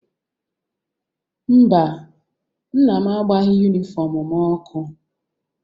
Mba, nna m agbaghị yunifọmụ m ọkụ.